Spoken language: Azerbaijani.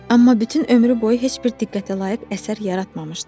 Amma bütün ömrü boyu heç bir diqqətə layiq əsər yaratmamışdı.